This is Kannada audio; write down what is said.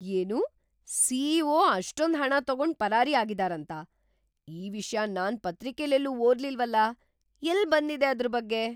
ಏನು?! ಸಿ.ಇ.ಒ. ಅಷ್ಟೊಂದ್ ಹಣ ತಗೊಂಡ್ ಪರಾರಿ ಆಗಿದಾರಂತ?! ಈ ವಿಷ್ಯ ನಾನ್ ಪತ್ರಿಕೆಲೆಲ್ಲೂ ಓದ್ಲಿಲ್ವಲ, ಎಲ್ಲ್ ಬಂದಿದೆ ಅದ್ರ್‌ ಬಗ್ಗೆ?!